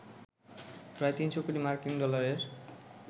প্রায় ৩০০ কোটি মার্কিন ডলারের